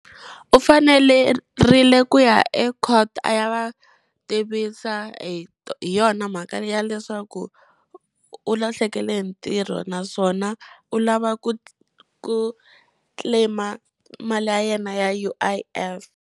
U fanelerile ku ya e court a ya va tivisa hi hi yona mhaka leyi ya leswaku u lahlekele hi ntirho naswona u lava ku ku claim-a mali ya yena ya U_I_F.